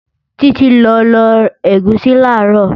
Títí lọ lọ ẹ̀gúsí làárọ̀